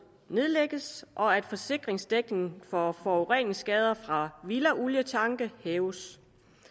nedlægges og at forsikringsdækningen for forureningsskader fra villaolietanke hæves